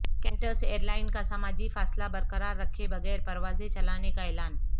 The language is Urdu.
کینٹس ایئرلائن کا سماجی فاصلہ برقرار رکھے بغیر پراوزیں چلانے کا اعلان